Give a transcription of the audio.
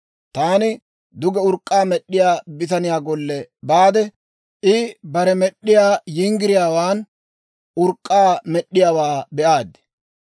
Taani duge urk'k'aa med'd'iyaa bitaniyaa golle baade, I bare med'd'iyaa yinggiriyaawaan urk'k'aa med'd'iyaawaa be'aad.